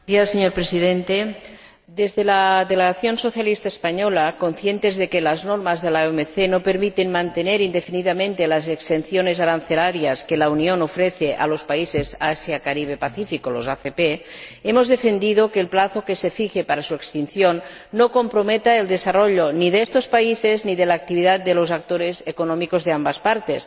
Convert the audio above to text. Señor Presidente, desde la delegación socialista española, conscientes de que las normas de la OMC no permiten mantener indefinidamente las exenciones arancelarias que la Unión ofrece a los países Asia Caribe Pacífico —los ACP—, hemos defendido que el plazo que se fije para su extinción no comprometa el desarrollo ni de estos países ni de la actividad de los actores económicos de ambas partes.